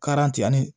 ani